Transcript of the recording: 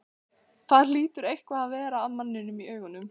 Það hlýtur eitthvað að vera að manninum í augunum.